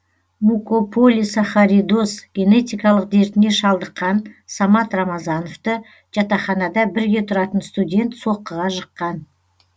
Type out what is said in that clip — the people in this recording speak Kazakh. мукополисахаридоз генетикалық дертіне шалдыққан самат рамазановты жатақханада бірге тұратын студент соққыға жыққан